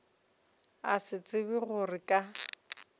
a sa tsebe gore ka